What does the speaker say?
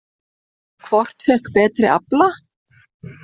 Hvort fékk betri afla?